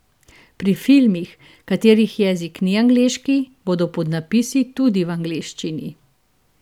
Pri filmih, katerih jezik ni angleški, bodo podnapisi tudi v angleščini.